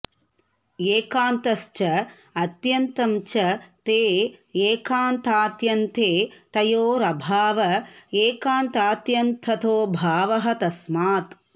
एकान्तश्च अत्यन्तं च ते एकान्तात्यन्ते तयोरभाव एकान्तात्यन्ततोऽभावः तस्मात्